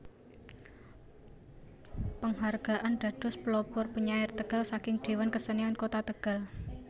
Penghargaan dados Pelopor Penyair Tegal saking Dewan Kesenian Kota Tegal